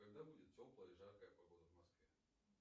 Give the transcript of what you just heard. когда будет теплая и жаркая погода в москве